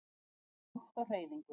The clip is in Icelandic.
Vindur er loft á hreyfingu.